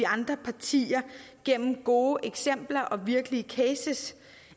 andre partier gennem gode eksempler og virkelige cases